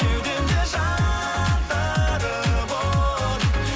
кеудемде жандырып от